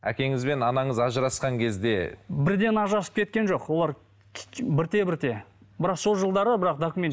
әкеңіз бен анаңыз ажырасқан кезде бірден ажырасып кеткен жоқ олар бірте бірте бірақ сол жылдары бірақ документ